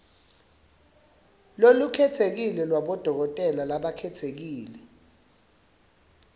lolukhetsekile lwabodokotela labakhetsekile